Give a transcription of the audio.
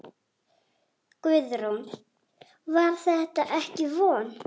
Guðrún: Var þetta ekki vont?